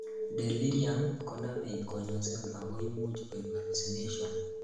delirium konomei konyosin ago imuch koib hallucinations